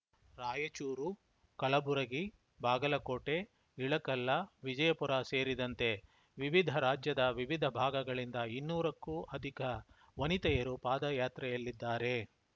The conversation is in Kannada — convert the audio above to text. ರಾಯಚೂರು ಕಲಬುರಗಿ ಬಾಗಲಕೋಟೆ ಇಳಕಲ್ಲ ವಿಜಯಪುರ ಸೇರಿದಂತೆ ವಿವಿಧ ರಾಜ್ಯದ ವಿವಿಧ ಭಾಗಗಳಿಂದ ಇನ್ನೂರಕ್ಕೂ ಅಧಿಕ ವನಿತೆಯರು ಪಾದಯಾತ್ರೆಯಲ್ಲಿದ್ದಾರೆ